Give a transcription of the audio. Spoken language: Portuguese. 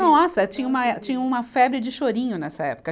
Nossa, tinha uma eh, tinha uma febre de chorinho nessa época.